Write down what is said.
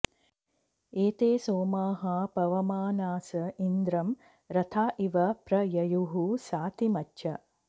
एते सोमाः पवमानास इन्द्रं रथा इव प्र ययुः सातिमच्छ